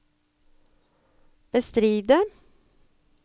bestride